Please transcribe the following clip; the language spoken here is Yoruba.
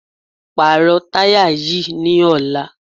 Pàrọ̀ táyà yìí ní ọ̀la!